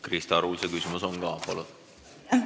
Krista Arul see küsimus ka on.